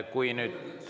Kui nüüd …